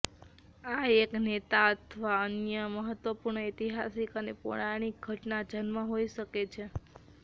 આ એક નેતા અથવા અન્ય મહત્વપૂર્ણ ઐતિહાસિક અને પૌરાણિક ઘટના જન્મ હોઈ શકે છે